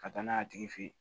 Ka taa n'a ye a tigi fe yen